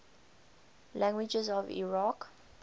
languages of iraq